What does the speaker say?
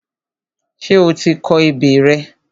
Ṣé o ti kọ ebè rẹ?